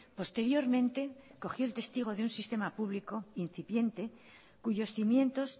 posteriormente cogió el testigo de un sistema público incipiente cuyos cimientos